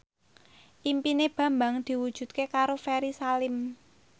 impine Bambang diwujudke karo Ferry Salim